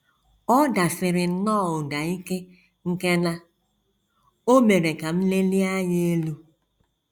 Ọ dasiri nnọọ ụda ike nke na o mere ka m lelie anya elu.